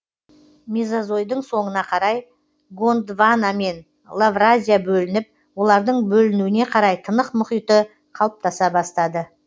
мезозойдың соңына қарай гондвана мен лавразия бөлініп олардың бөлінуіне қарай тынық мұхиты қалыптаса бастады